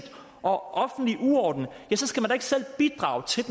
og offentlig uorden skal man ikke selv bidrage til